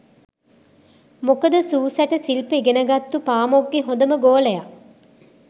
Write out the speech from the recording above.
මොකද සූ සැට සිල්ප ඉගෙනගත්තු පාමොක්ගෙ හොඳම ගෝලය